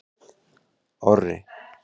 Orri